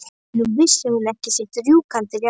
Nú vissi hún ekki sitt rjúkandi ráð.